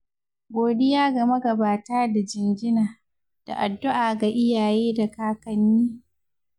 Godiya ga magabata da jinjina, da addu'a ga iyaye da kakanni.